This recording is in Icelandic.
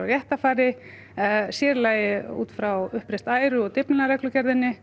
réttarfari sér í lagi út frá uppreist æru og